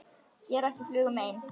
Gera ekki flugu mein.